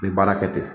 N bɛ baara kɛ ten